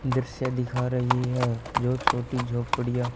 दृश्य दिखा रही है जो छोटी झोपड़ियां--